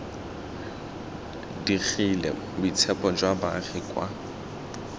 digile boitshepo jwa baagi kwa